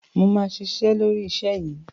Mo ma ṣiṣẹ́ lórí iṣẹ́ yìí.